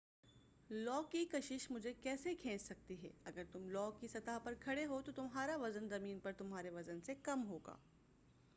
لو کی کشش مجھے کیسے کھینچ سکتی ہے اگر تم لو کی سطح پر کھڑے ہو تو تمہارا وزن زمین پر تمہارے وزن سے کم ہو گا